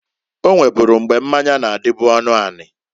O nweburu mgbe mmanya na-adịbụ ọnụanị.